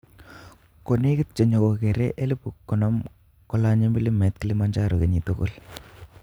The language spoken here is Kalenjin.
Konekit chenyokokere 50,000 kolonye mlimet Kilimanjaro kenyit tugul.